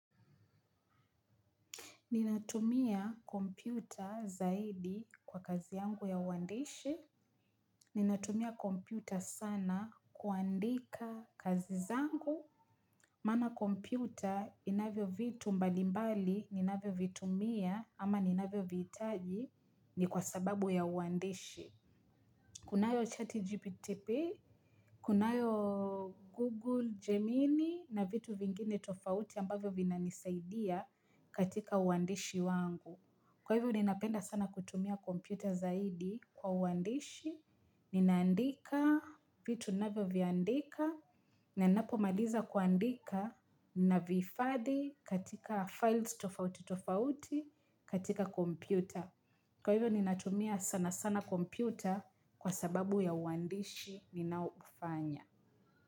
Ninatumia kompyuta zaidi kwa kazi yangu ya uandishi. Ninatumia kompyuta sana kuandika kazi zangu. Maana kompyuta inavyo vitu mbalimbali, ninavyo vitumia ama ninavyovihitaji ni kwa sababu ya uandishi. Kunayo chat gpt, kunayo google gemini na vitu vingine tofauti ambavyo vinanisaidia katika uandishi wangu. Kwa hivyo ninapenda sana kutumia computer zaidi kwa uandishi, ninaandika vitu navyo viandika, na ninapo maliza kuandika navihifadhi katika files tofauti tofauti katika computer. Kwa hivyo ninatumia sana sana kompyuta kwa sababu ya uandishi ninaoufanya.